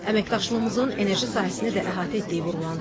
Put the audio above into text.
Əməkdaşlığımızın enerji sahəsini də əhatə etdiyi vurğulandı.